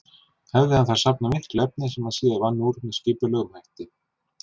Hefði hann þar safnað miklu efni sem hann síðar vann úr með skipulegum hætti.